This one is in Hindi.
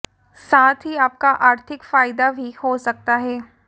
साथ ही आपका आर्थिक फायदा भी हो सकता है